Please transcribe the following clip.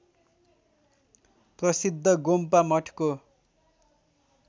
प्रसिद्ध गोम्पा मठको